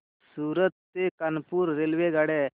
सूरत ते कानपुर रेल्वेगाड्या